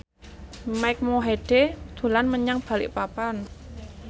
Mike Mohede dolan menyang Balikpapan